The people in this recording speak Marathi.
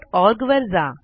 texniccenterओआरजी वर जा